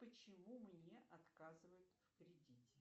почему мне отказывают в кредите